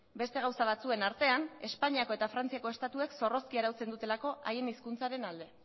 beste gauza batzuen artean espainiako eta frantziako estatuek zorrozki arautzen dutelako haien hizkuntzaren alde